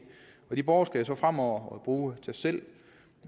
de borgere skal så fremover bruge tastselv